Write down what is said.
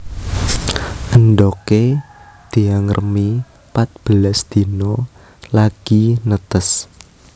Endhogé diangremi patbelas dina lagi netes